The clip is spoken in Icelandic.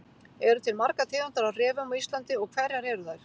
eru til margar tegundir af refum á íslandi og hverjar eru þær